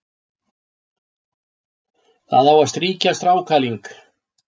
Það á að strýkja strákaling,